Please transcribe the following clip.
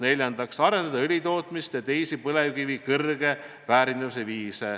Neljandaks, arendada õlitootmist ja teisi põlevkivi kõrge väärindamise viise.